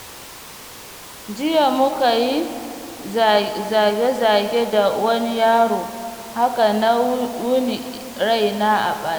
Jiya muka yi zage-zage da wani yaro, haka na wuni raina a ɓace.